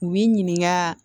U b'i ɲininka